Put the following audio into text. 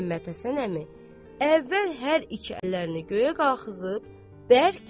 Məhəmməd Həsən əmi əvvəl hər iki əllərini göyə qaxızıb bərk.